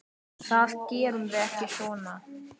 Það gerum við ekki svona.